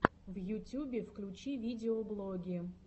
в ютюбе включи видеоблоги